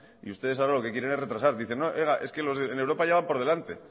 y ustedes ahora lo que quieren es retrasar dicen no oiga es que en europa ya van por delante